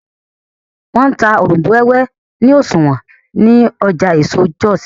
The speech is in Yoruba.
wón n tá Òrombó wéwé ni oṣuwọn ní Ọjà eso Jos